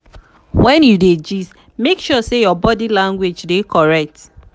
when you dey gist make sure say your body language dey correct.